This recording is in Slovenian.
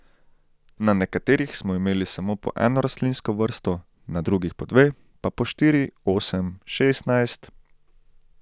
Na nekaterih smo imeli samo po eno rastlinsko vrsto, na drugih po dve, pa po štiri, osem, šestnajst ...